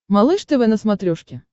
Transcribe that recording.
малыш тв на смотрешке